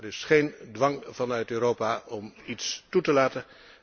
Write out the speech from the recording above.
Er is geen dwang vanuit Europa om mensen toe te laten.